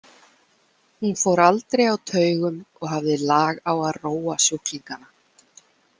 Hún fór aldrei á taugum og hafði lag á að róa sjúklingana.